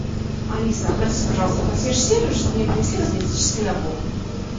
алиса обратись пожалуйста в консьерж сервис чтобы мне принесли косметический набор